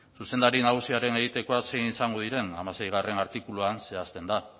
zuzendari nagusiaren egitekoak zein izango diren hamaseigarrena artikuluan zehazten da